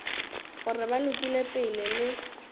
gore ba lokile pele le